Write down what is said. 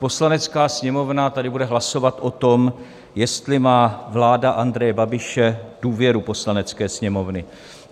Poslanecká sněmovna tady bude hlasovat o tom, jestli má vláda Andreje Babiše důvěru Poslanecké sněmovny.